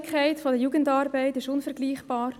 Die Jugendarbeit ist unvergleichlich niederschwellig.